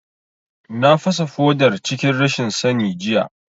Na fasa fodar cikin rashin sani jiya